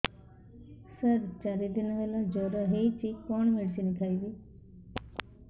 ସାର ଚାରି ଦିନ ହେଲା ଜ୍ଵର ହେଇଚି କଣ ମେଡିସିନ ଖାଇବି